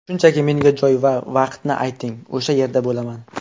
Shunchaki, menga joy va vaqtni ayting, o‘sha yerda bo‘laman.